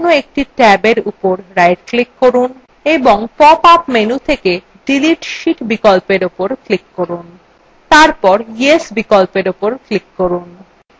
এবার যেকোনো একটি ট্যাবyes উপর right click করুন এবং pop up menu থেকে delete sheet বিকল্প উপর click করুন